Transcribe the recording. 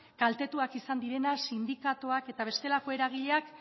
kaltetuak izan direnak sindikatuak eta bestelako eragileak